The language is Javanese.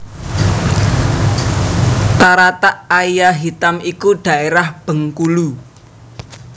Taratak Aia Hitam iku dhaérah Bengkulu